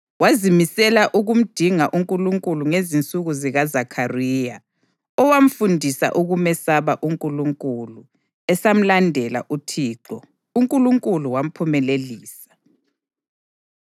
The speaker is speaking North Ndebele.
Wazimisela ukumdinga uNkulunkulu ngezinsuku zikaZakhariya, owamfundisa ukumesaba uNkulunkulu. Esamlandela uThixo, uNkulunkulu wamphumelelisa.